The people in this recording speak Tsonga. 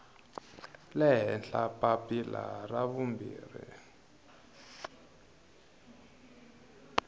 le henhla papila ra vumbirhi